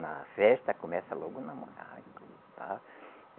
Na festa, começa logo namorar